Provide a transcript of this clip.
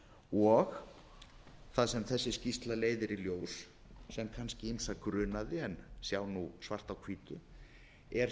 og það sem þessi skýrsla leiðir í ljós sem kannski ýmsa grunaði en sjá nú svart á hvítu er